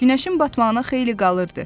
Günəşin batmağına xeyli qalırdı.